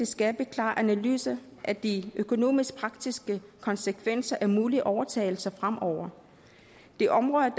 skabe en klar analyse af de økonomisk praktiske konsekvenser af mulige overtagelser fremover de områder